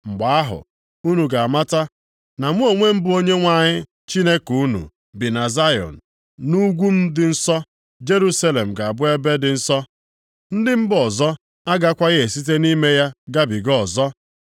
“Mgbe ahụ, unu ga-amata na mụ onwe m bụ Onyenwe anyị Chineke unu bi na Zayọn, nʼugwu m dị nsọ. Jerusalem ga-abụ ebe dị nsọ. Ndị mba ọzọ agakwaghị esite nʼime ya gabiga ọzọ.